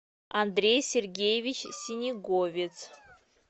андрей сергеевич синеговец